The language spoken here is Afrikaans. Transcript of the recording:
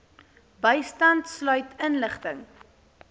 bystand sluit inligting